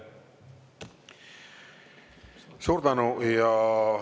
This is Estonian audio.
Suur tänu!